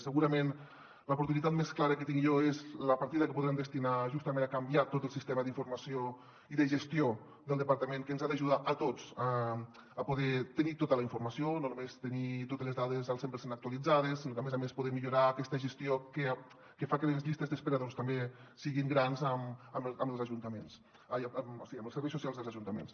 segurament l’oportuni·tat més clara que tinc jo és la partida que podrem destinar justament a canviar tot el sistema d’informació i de gestió del departament que ens ha d’ajudar a tots a poder tenir tota la informació no només tenir totes les dades al cent per cent actualitzades sinó a més a més poder millorar aquesta gestió que fa que les llistes d’espera també siguin grans amb els serveis socials dels ajuntaments